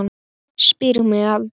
Spyr mig aldrei.